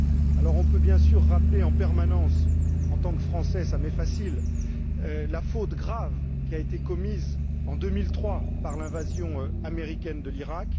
Alors, on peut bien sûr rappeler en permanence en tant que Français, ça m'est facile la faute grave qui a été commise en 2003 par l'invasion américaine de l'Iraq.